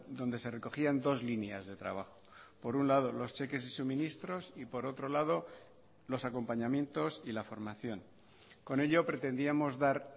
donde se recogían dos líneas de trabajo por un lado los cheques y suministros y por otro lado los acompañamientos y la formación con ello pretendíamos dar